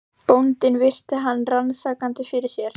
Bóndinn virti hann rannsakandi fyrir sér.